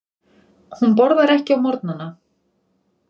Hún borðar ekki á morgnana.